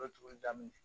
tuguli daminɛ